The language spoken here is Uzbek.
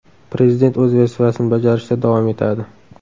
Prezident o‘z vazifasini bajarishda davom etadi.